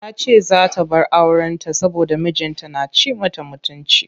Tace zaa ta bar auren ta saboda mijin ta na ci mata mutunci.